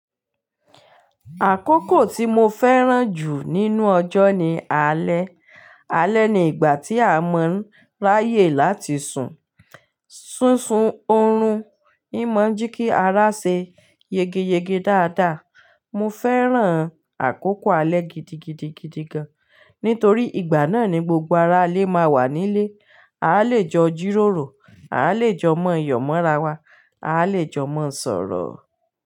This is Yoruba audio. Àkókò tí mo fẹ́ràn jù nínú ọjọ́ ni alẹ́. Alẹ́ ni ìgbà tí a mọ́ ráyè láti sùn, ṣúsun oorun, n mọ̀ọ́ jẹ kí ara ṣe yegeyege dáadáa. Mo fẹ́ràn àkókò alẹ́ gidigidigidi gán, nítorí ìgbà náà ni gbogbo ara lé má wà nílé. A lè jọ jí ròrò, a lè jọ mọ yọ̀ mọ́ra wa, a lè jọ mọ̀ sọ̀rọ̀